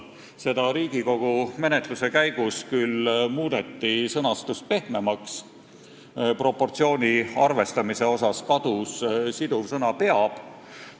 Seda Riigikogu menetluse käigus küll muudeti, sõnastust muudeti pehmemaks, proportsiooni arvestamise osast kadus siduv sõna "peab".